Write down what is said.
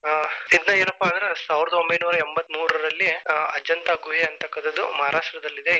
ಪ್ರಸಿದ್ಧ ಏನಪ್ಪಾ ಅಂದ್ರ ಸಾವಿರದ ಒಂಭೈನೂರ ಎಂಬ್ಬತ್ಮೂರರಲ್ಲಿ ಅಜಂತಾ ಗುಹೆ ಅನ್ನತಕ್ಕಂತದ್ದು ಮಹರಾಷ್ಟ್ರದಲ್ಲಿದೆ.